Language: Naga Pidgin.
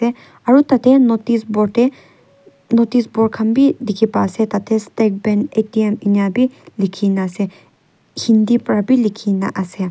aru tate notice board teh notice board khan bhi dikhi pa ase ta teh state bank A_T_M ena bhi likhi na ase hindi para bhi likhi na ase.